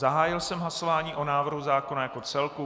Zahájil jsem hlasování o návrhu zákona jako celku.